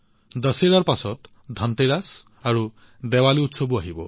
দশেৰাৰ পিছত ধনতেৰাছ আৰু দেৱালী উৎসৱো আহিব